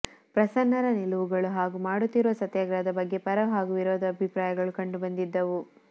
ಪ್ರಸನ್ನರ ನಿಲುವುಗಳು ಹಾಗೂ ಮಾಡುತ್ತಿರುವ ಸತ್ಯಾಗ್ರಹದ ಬಗ್ಗೆ ಪರ ಹಾಗೂ ವಿರೋಧ ಅಭಿಪ್ರಾಯಗಳು ಕಂಡು ಬಂದಿದ್ದವು